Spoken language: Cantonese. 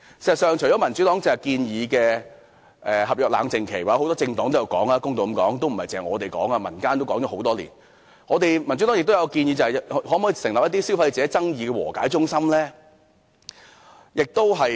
事實上，除了民主黨剛才建議的合約冷靜期——或公道的說，不只民主黨有提出，很多政黨都有提及，民間都曾提出多年——民主黨亦建議成立消費者爭議和解中心。